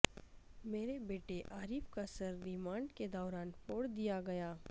میرے بیٹے عارف کا سرریمانڈ کے دوران پھوڑدیا گیا